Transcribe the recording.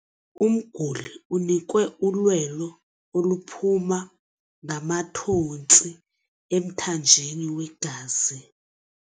Umguli unikwe ulwelo oluphuma ngamathontsi emthanjeni wegazi.